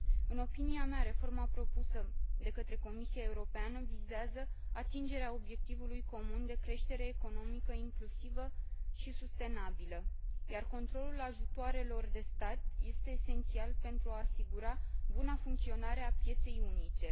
În opinia mea, reforma propusă de către Comisia Europeană vizează atingerea obiectivului comun de creștere economică inclusivă și sustenabilă, iar controlul ajutoarelor de stat este esențial pentru a asigura buna funcționare a pieței unice.